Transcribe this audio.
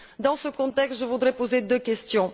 Dans ce contexte, je voudrais poser deux questions.